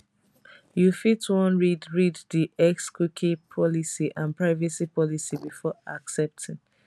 you fit wan read read di xcookie policy and privacy policy before accepting